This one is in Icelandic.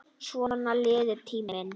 Svona líður tíminn.